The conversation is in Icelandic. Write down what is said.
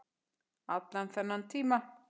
Allan þennan tíma.